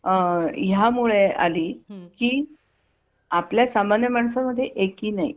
यामुळे आली की आपल्या सामान्य माणसा मध्ये एकी ही नाही